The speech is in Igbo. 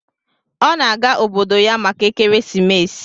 Ọ na-aga obodo ya maka ekeresimesi.